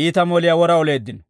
iita moliyaa wora oleeddino.